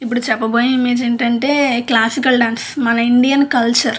ఇప్పుడు చెప్పబోయే ఇమ్మేజ్ ఏంటంటే క్లాసికల్ డాన్స్ మన ఇండియన్ కల్చర్ --